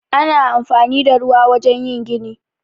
Ana anfani da ruwa a wajen yin gini.